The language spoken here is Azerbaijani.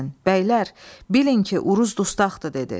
Bəylər, bilin ki, Uruz dustaqdır dedi.